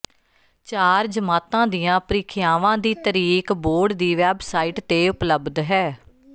ਚਾਰਾਂ ਜਮਾਤਾਂ ਦੀਆਂ ਪ੍ਰੀਖਿਆਵਾਂ ਦੀ ਤਰੀਕ ਬੋਰਡ ਦੀ ਵੈਬਸਾਈਟ ਤੇ ਉਪਲਬਧ ਹੈ